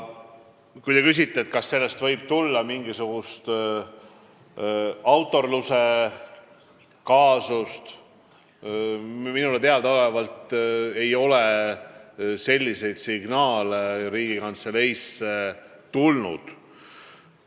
Kui te küsite, kas sellest võib tulla mingisugune autoriõiguse rikkumise kaasus, siis minule teadaolevalt ei ole selliseid signaale Riigikantseleisse tulnud.